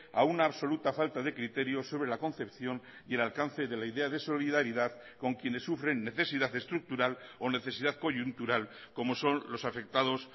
a una absoluta falta de criterio sobre la concepción y el alcance de la idea de solidaridad con quienes sufren necesidad estructural o necesidad coyuntural como son los afectados